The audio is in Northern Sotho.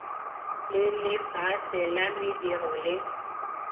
le lefase la mediro le